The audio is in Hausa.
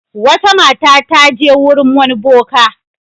Wata mata ta je wurin wani boka.